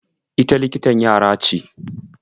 Ita likitan yara ce.